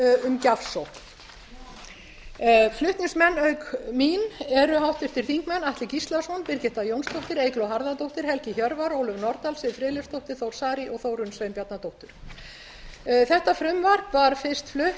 um gjafsókn flutningsmenn auk mín eru háttvirtir þingmenn atli gíslason birgitta jónsdóttir eygló harðardóttir helgi hjörvar ólöf nordal siv friðleifsdóttir þór saari og þórunn sveinbjarnardóttir þetta frumvarp var fyrst flutt